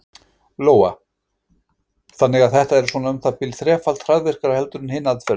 Lóa: Þannig að þetta er svona um það bil þrefalt hraðvirkara heldur en hin aðferðin?